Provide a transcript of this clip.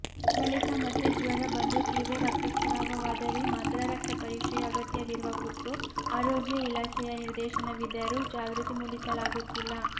ಬಳಿಕ ಮತ್ತೆ ಜ್ವರ ಬಂದು ತೀವ್ರ ರಕ್ತಸ್ರಾವವಾದರೆ ಮಾತ್ರ ರಕ್ತಪರೀಕ್ಷೆಯ ಅಗತ್ಯವಿರುವ ಕುರಿತು ಆರೋಗ್ಯ ಇಲಾಖೆಯ ನಿರ್ದೇಶನವಿದ್ದರೂ ಜಾಗೃತಿ ಮೂಡಿಸಲಾಗುತ್ತಿಲ್ಲ